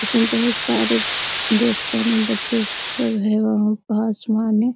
उसमे बहुत सारे ड्रेस पहने बच्चे सब है वहाँ पे आसमान है ।